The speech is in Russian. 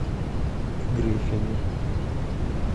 гриффины